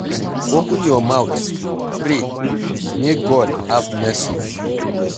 Open your mouth pray make God have mercy on you.